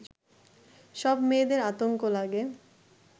সব মেয়েদের আতঙ্ক লাগে